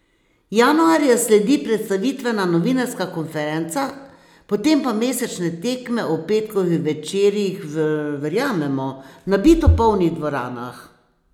Januarja sledi predstavitvena novinarska konferenca, potem pa mesečne tekme ob petkovih večerih v, verjamemo, nabito polnih dvoranah.